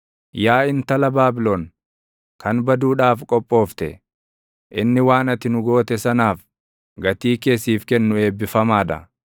Yaa intala Baabilon, kan baduudhaaf qophoofte, inni waan ati nu goote sanaaf, gatii kee siif kennu eebbifamaa dha.